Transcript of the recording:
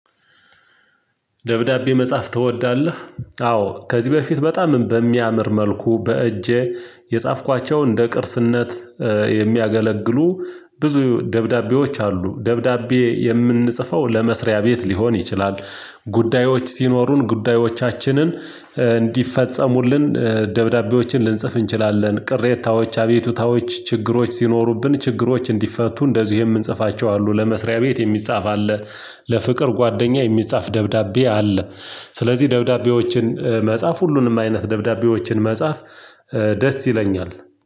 ደብዳቤ መጻፍ ትወዳለህ? አዎ ከዚህ በፊት በጣም በሚያምር መልኩ በእጄ የጻፍኳቸው እንደ ቅርስነት የሚያገለግሉ ብዙ ደብዳቤዎች አሉ። ደብዳቤ የምንጽፈው ለመስሪያ ቤት ሊሆን ይችላል። ጉዳዮች ሲኖሩን ጉዳዮቻችንን እንዲፈጸሙልን ደብዳቤዎችን ልንጽፍ እንችላለን። ቅሬታዎች አቤቱታዎች ችግሮች ሲኖሩብን ችግሮች እንዲፈቱ እንደዚሁ የምንጽፋቸው አሉ። ለመስሪያ ቤት የሚጻፍ አለ። ለፍቅር ጓደኛ የሚጻፍ ደብዳቤ አለ። ስለዚህ ደብዳቤዎችን መጻፍ ሁሉንም አይነት ደብዳቤዎችን መጻፍ ደስ ይለኛል።